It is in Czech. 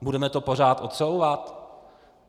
Budeme to pořád odsouvat?